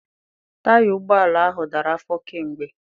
Taya ụgbọala ahụ dara afọ kamgbe.